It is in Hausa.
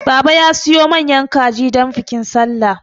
Baba ya siyo manyan kalji don bikin sallah